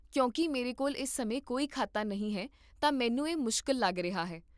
ਕਿਉਂਕਿ ਮੇਰੇ ਕੋਲ ਇਸ ਸਮੇਂ ਕੋਈ ਖਾਤਾ ਨਹੀਂ ਹੈ ਤਾਂ ਮੈਨੂੰ ਇਹ ਮੁਸ਼ਕਿਲ ਲੱਗ ਰਿਹਾ ਹੈ